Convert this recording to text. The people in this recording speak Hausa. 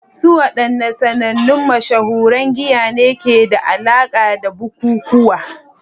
Su wadanne sanannun mashahuran giya ne ke da alaƙa da bukukuwa?